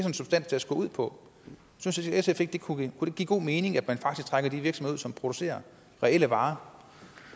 en substanstest går ud på synes sf ikke at det kunne give god mening at man faktisk trækker de virksomheder ud som producerer reelle varer